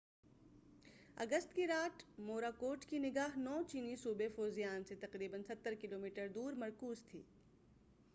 9 August کی رات Morakot کی نگاہ چینی صوبے فوزیان سے تقریبا ستر کلومیٹر دور مرکوز تھی